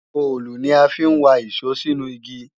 òòlù ni a fi ń wa ìṣó sínú igi